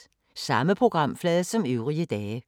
Samme programflade som øvrige dage